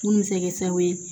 Mun bɛ se kɛ sababu ye